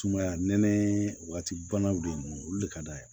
Sumaya nɛnɛ waati banaw de don olu le ka d'a ye